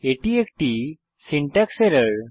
এটি একটি syntax error